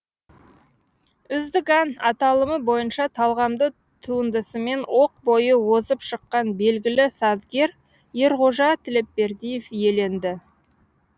үздік ән аталымы бойынша талғамды туындысымен оқ бойы озып шыққан белгілі сазгер ерғожа тілепбердиев иеленді